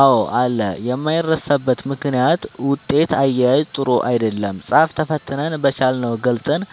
አዎ አለ የማይረሳበት ምክንያት ውጤት አያያዝ ጥሩ አይደለም ፃፍ ተፈትነን በቻልነው ገልፀን